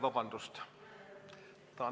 Vabandust!